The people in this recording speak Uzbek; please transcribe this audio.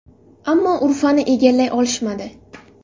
Ammo Urfani egallay olishmadi.